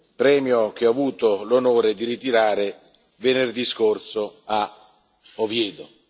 premio che ho avuto l'onore di ritirare venerdì scorso a Oviedo.